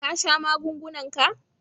Ka sha magungunan ka?